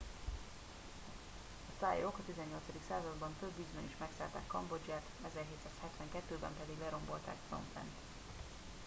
a thaiok a 18. században több ízben is megszállták kambodzsát,1772-ben pedig lerombolták phnom phen-t